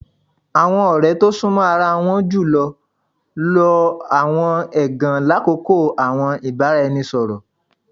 Awọn ọrẹ to sunmọ ara won julọ lo awọn ẹgan lakoko awọn ibaraẹnisọrọ